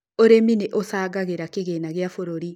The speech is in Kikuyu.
ũrĩmi nĩ ũcagagĩra kĩgĩna gĩa bũrũri